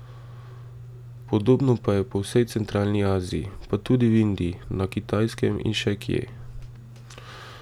Podobno pa je po vsej Centralni Aziji, pa tudi v Indiji, na Kitajskem in še kje.